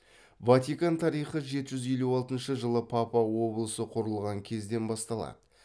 ватикан тарихы жеті жүз елу алтыншы жылы папа облысы құрылған кезден басталады